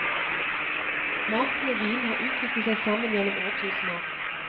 Maten og vinen har utviklet seg sammen gjennom årtusener.